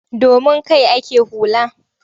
Domin kai ake hula.